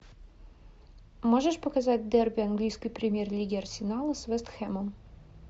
можешь показать дерби английской премьер лиги арсенала с вест хэмом